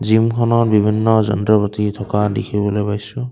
জিমখনত বিভিন্ন যন্ত্ৰ পাতি থকা দেখিবলৈ পাইছোঁ।